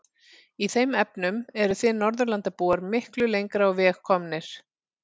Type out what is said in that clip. Í þeim efnum eruð þið Norðurlandabúar miklu lengra á veg komnir.